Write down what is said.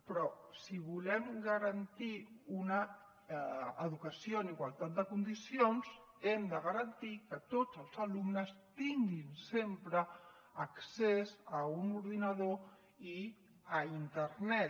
però si volem garantir una educació en igualtat de condicions hem de garantir que tots els alumnes tinguin sempre accés a un ordinador i a internet